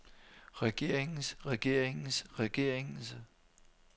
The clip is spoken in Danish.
regeringens regeringens regeringens